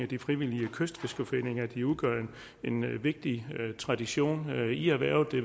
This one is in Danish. de frivillige kystfiskerforeninger de udgør en vigtig tradition i erhvervet det